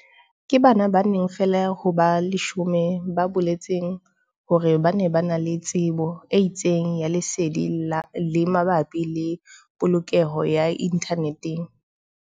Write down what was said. Ke bana ba bane feela ho ba 10 ba boletseng hore ba na le tsebo e itseng ya lesedi le mabapi le polokeho ya inthaneteng.